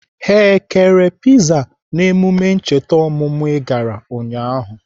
Ha kere piza n'emume ncheta ọmụmụ I gara ụnyaahụ?